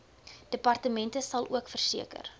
departement salook verseker